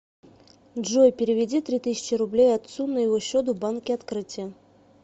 джой переведи три тысячи рублей отцу на его счет в банке открытие